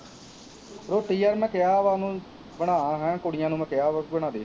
ਰੋਟੀ ਯਾਰ ਮੈਂ ਕਿਹਾ ਵਾ ਉਹਨੂੰ ਬਣਾ ਹੈਂ, ਕੁੜੀਆਂ ਨੂੰ ਮੈਂ ਕਿਹਾ ਵਾ ਬਣਾ ਦੇ